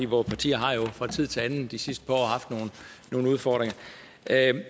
vore partier har jo fra tid til anden de sidste par år haft nogle udfordringer